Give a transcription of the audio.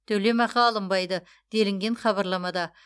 төлемақы алынбайды делінген хабарламада